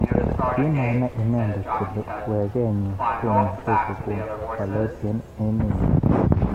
Kimanai inendet kole weket nyi komuch kokon walet eng emet nyi.